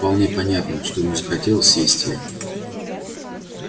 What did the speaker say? вполне понятно что ему захотелось съесть её